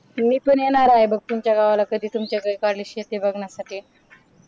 मी पण येणार आहे बघ तुमच्या गावाला तुमच्या गावाला कधी तुमच्याकडे कारल्याची शेती बघण्यासाठी